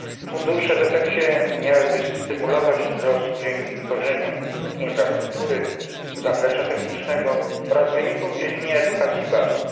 Fundusze w efekcie miałyby stymulować wzrost dzięki tworzeniu infrastruktury, zaplecza technicznego oraz wyników w dziedzinie edukacji i badań.